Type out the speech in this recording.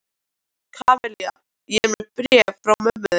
Kamilla, ég er með bréfið frá mömmu þinni.